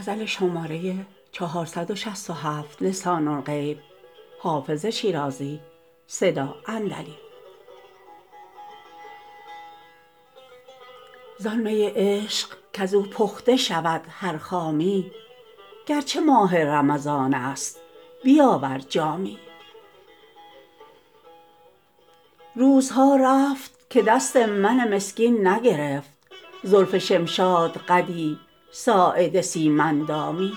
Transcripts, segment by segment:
زان می عشق کز او پخته شود هر خامی گر چه ماه رمضان است بیاور جامی روزها رفت که دست من مسکین نگرفت زلف شمشادقدی ساعد سیم اندامی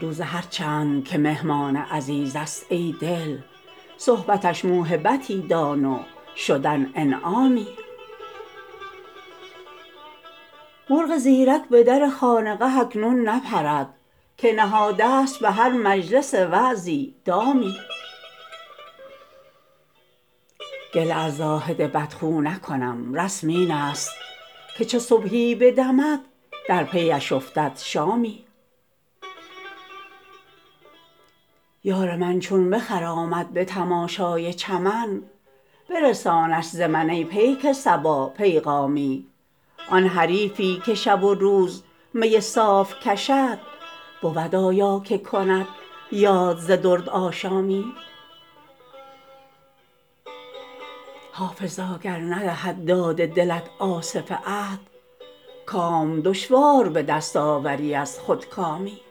روزه هر چند که مهمان عزیز است ای دل صحبتش موهبتی دان و شدن انعامی مرغ زیرک به در خانقه اکنون نپرد که نهاده ست به هر مجلس وعظی دامی گله از زاهد بدخو نکنم رسم این است که چو صبحی بدمد در پی اش افتد شامی یار من چون بخرامد به تماشای چمن برسانش ز من ای پیک صبا پیغامی آن حریفی که شب و روز می صاف کشد بود آیا که کند یاد ز دردآشامی حافظا گر ندهد داد دلت آصف عهد کام دشوار به دست آوری از خودکامی